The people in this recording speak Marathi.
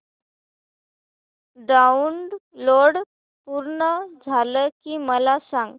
डाऊनलोड पूर्ण झालं की मला सांग